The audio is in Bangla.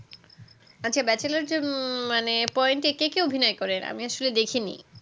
আচ্ছা bachelor poin যে মানে কে কে অভিনয় করেআমি আসলে দেখিনি